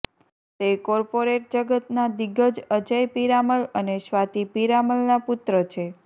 તે કોર્પોરેટ જગતના દિગ્ગજ અજય પીરામલ અને સ્વાતિ પીરામલના પુત્ર છે